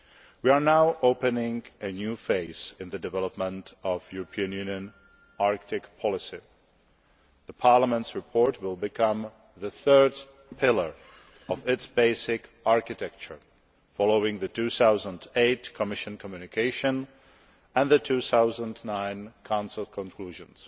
We are now opening a new phase in the development of EU Arctic policy. Parliament's report will become the third pillar of its basic architecture, following the 2008 Commission communication and the 2009 Council conclusions.